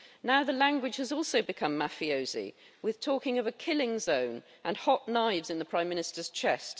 Now the language has also become mafiosi, with talking of a killing zone and hot knives in the Prime Minister's chest.